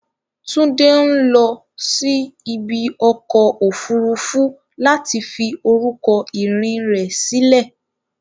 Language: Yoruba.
Tunde ń lọ sí ibi ọkọ̀ òfuurufú láti fi orúkọ ìrìn rẹ̀ sílẹ̀.